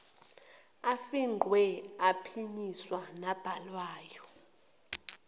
afingqiwe aphinyiswayo nabhalwayo